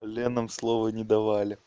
ленам слово не давали